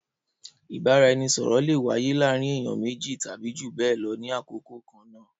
Ìbáraẹnisọ̀rọ̀ le wáyé láàárín ènìyàn méjì tàbí jù bẹẹ lọ ní àkókò kan náà